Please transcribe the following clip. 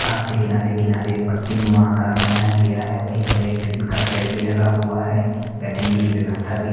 घास के किनारे-किनारे एक पट्टीनुमा आकर बनाया गया है वहीं पर एक टिन का शेड भी लगा हुआ है बैठने की व्यवस्था भी--